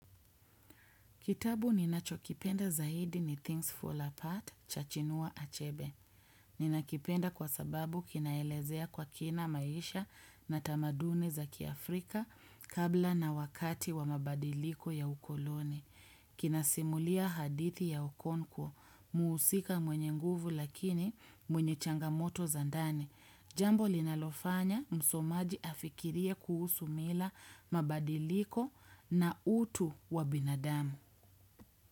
Kitabu ninachokipenda zaidi ni Things Fall Apart cha Chinua Achebe. Ninakipenda kwa sababu kinaelezea kwa kina maisha na tamaduni za kiafrika kabla na wakati wa mabadiliko ya ukoloni. Kinasimulia hadithi ya Okonko, muusika mwenye nguvu lakini mwenye changamoto za ndani. Jambo linalofanya msomaji afikirie kuhusu mila mabadiliko na utu wa binadamu.